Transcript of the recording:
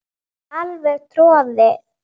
Alveg troðið.